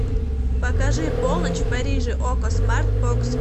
покажи полночь в париже окко смарт бокс